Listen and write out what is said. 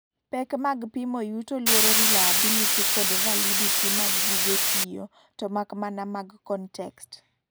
pek mag pimo yuto luoro reliability kod validity mag gige tiyo, tomakmana mag context